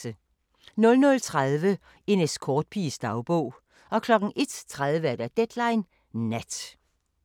00:30: En escortpiges dagbog 01:30: Deadline Nat